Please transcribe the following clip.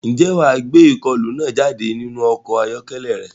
Ṣé wà á gbé ìkọlù náà jáde nínú ọkọ̀ ayọ́kẹ́lẹ́ rẹ?